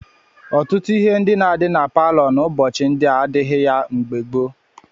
Ọtụtụ ihe ndị na-adị na palọ n'ụbọchị ndị a adịghị ya mgbe gboo.